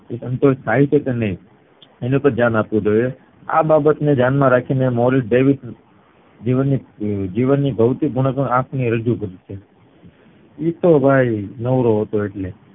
સંતોષ થાય છે કે નય એની પર ધ્યાન રાખવું જોવે આ બાબત ને ધ્યાન માં રાખી ને મૌલિક જીવનની જીવનની ભૌતિક ગુણવત્તા રજુ કરી છે ઈ તો ભાઈ નવરો હતો એટલે